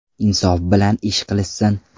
Insof bilan ish qilishsin.